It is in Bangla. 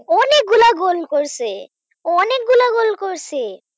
অনেক গুলা গোল করছে অনেক গুলা গোল করছে